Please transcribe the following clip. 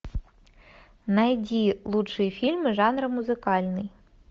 найди лучшие фильмы жанра музыкальный